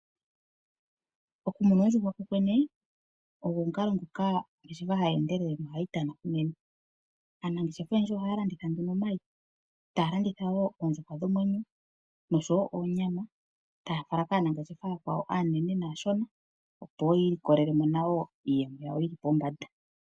Okumuna oondjuhwa kokwene oyo ongeshefa ndjoka hayi endelele nohayi tana unene. Aanangeshefa oyendji ohaya landitha omayi, taya ka landitha wo oondjuhwa dhomwenyo oshowo onyama taya fala kaanengeshefa ooyakwawo aashona naanene, opo wo yi ilikolele mo iiyemo yawo yi li pombanda.